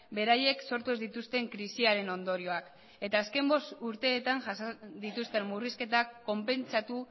beraiek sortu ez dituzten krisiaren ondorioak eta azken bost urteetan jasan dituzten murrizketak konpentsatu